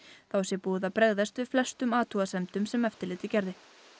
þá sé búið að bregðast við flestum athugasemdum sem eftirlitið gerði